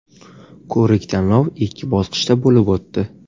Ko‘rik-tanlov ikki bosqichda bo‘lib o‘tdi.